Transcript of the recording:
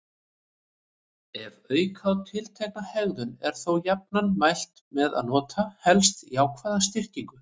Ef auka á tiltekna hegðun er þó jafnan mælt með að nota helst jákvæða styrkingu.